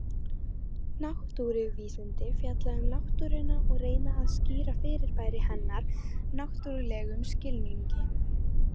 Náttúruvísindi fjalla um náttúruna og reyna að skýra fyrirbæri hennar náttúrlegum skilningi.